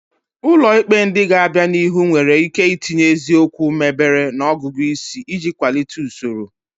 Ụlọ ikpe ndị ga-abịa n'ihu nwere ike itinye eziokwu mebere na ọgụgụ isi iji kwalite usoro.